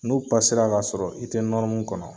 N'u k'a sɔrɔ i te kɔnɔ